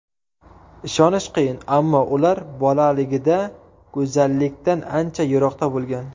Ishonish qiyin, ammo ular bolaligida go‘zallikdan ancha yiroqda bo‘lgan.